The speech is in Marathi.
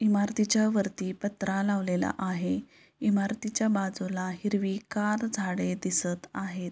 इमारतीच्यावरती पत्रा लावलेला आहे इमारतीच्या बाजूला हिरवीगार झाडे दिसत आहेत.